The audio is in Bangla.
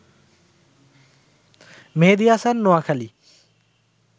মেহেদি হাসান, নোয়াখালি